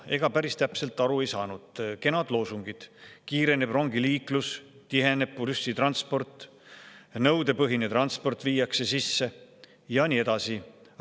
Ega sellest päris täpselt aru ei saanud, kenad loosungid: kiireneb rongiliiklus, tiheneb bussitransport, viiakse sisse nõudepõhine transport, ja nii edasi.